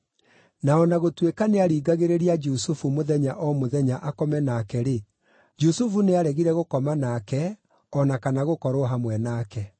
Na o na gũtuĩka nĩaringagĩrĩria Jusufu mũthenya o mũthenya akome nake-rĩ, Jusufu nĩaregire gũkoma nake o na kana gũkorwo hamwe nake.